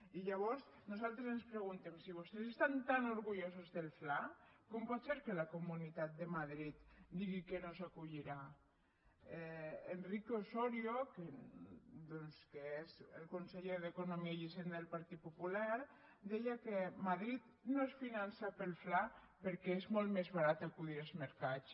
i llavors nosaltres ens preguntem si vostès estan tan orgullosos del fla com pot ser que la comunitat de madrid digui que no s’hi acollirà enrique osorio doncs que és el conseller d’economia i hisenda del partit popular deia que madrid no es finança pel fla perquè és molt més barat acudir als mercats